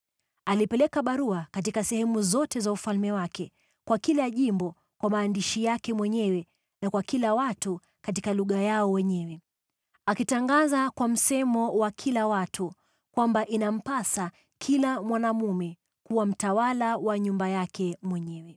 Alipeleka barua katika sehemu zote za ufalme wake, kwa kila jimbo kwa maandishi yake mwenyewe na kwa kila watu katika lugha yao wenyewe, akitangaza kwa msemo wa kila watu kwamba inampasa kila mwanaume kuwa mtawala wa nyumba yake mwenyewe.